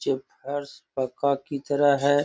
जो फोर्स मे की तरह है।